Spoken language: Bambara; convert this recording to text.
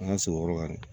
An ka se o yɔrɔ kan dɛ